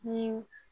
Ni